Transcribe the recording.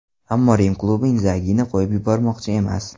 Ammo Rim klubi Indzagini qo‘yib yubormoqchi emas.